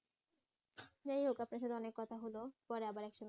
যাইহোক আপনার সঙ্গে অনেক কথা হলো পরে আবার এক সময় কথা